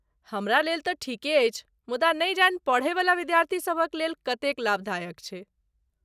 हमरा लेल तँ ठीके अछि, मुदा नहि जानि पढ़यवला विद्यार्थीसभक लेल कतेक लाभदायक छै।